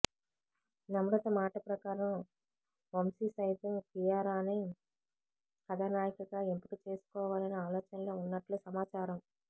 నమ్రత మాట ప్రకారం వంశీ సైతం కియారానే కథానాయికగా ఎంపిక చేసుకోవాలనే ఆలోచనలో ఉన్నట్లు సమాచారం